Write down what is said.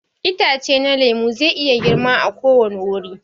Itace na lemu zai iya girma a ko wani wuri.